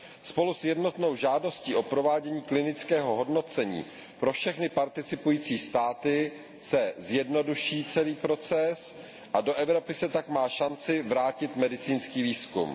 Spolu s jednotnou žádostí o provádění klinického hodnocení pro všechny participující státy se zjednoduší celý proces a do Evropy se tak má šanci vrátit medicínský výzkum.